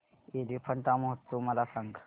एलिफंटा महोत्सव मला सांग